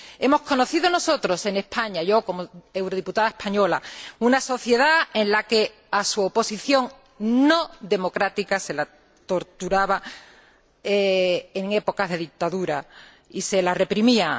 Hemos conocido nosotros en España puedo decirlo yo, como eurodiputada española una sociedad en la que a su oposición democrática se la torturaba en épocas de dictadura y se la reprimía.